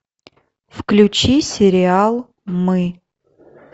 включи сериал мы